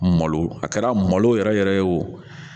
Malo a kɛra malo yɛrɛ yɛrɛ ye o